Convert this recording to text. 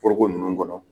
Foroko ninnu kɔnɔ